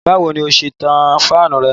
Báwo ni ó ṣe ń tan fáànù rẹ?